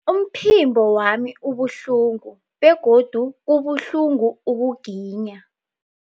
Umphimbo wami ubuhlungu begodu kubuhlungu ukuginya.